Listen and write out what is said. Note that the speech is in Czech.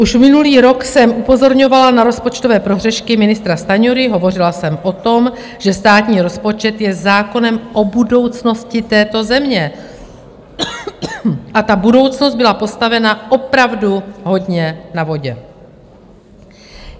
Už minulý rok jsem upozorňovala na rozpočtové prohřešky ministra Stanjury, hovořila jsem o tom, že státní rozpočet je zákonem o budoucnosti této země, a ta budoucnost byla postavena opravdu hodně na vodě.